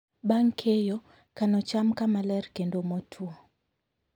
Bang' keyo, kano cham kama ler kendo motwo.